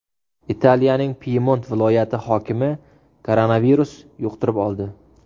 Italiyaning Pyemont viloyati hokimi koronavirus yuqtirib oldi.